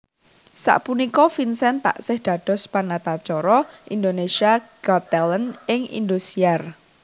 Sapunika Vincent taksih dados panatacara Indonesia Got Talent ing Indosiar